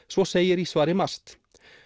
svo segir í svari MAST